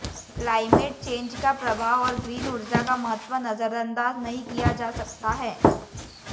climate change का प्रभाव और ग्रीन ऊर्जा का महत्व नजरअंदाज नहीं किया जा सकता है